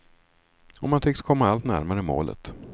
Och man tycks komma allt närmare målet.